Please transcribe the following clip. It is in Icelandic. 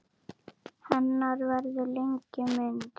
Hennar verður lengi minnst.